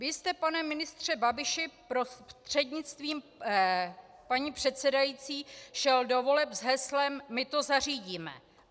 Vy jste, pane ministře Babiši prostřednictvím paní předsedající, šel do voleb s heslem "My to zařídíme".